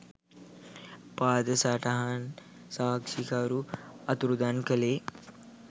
පාද සටහන් සාක්ෂිකරු අතුරුදන් කළේ